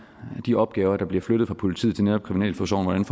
de opgaver der bliver flyttet fra politiet til netop kriminalforsorgen hvordan